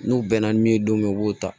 N'u bɛnna min ye don min na u b'o ta